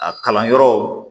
A kalan yɔrɔw